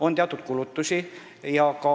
On ka teatud kulutusi.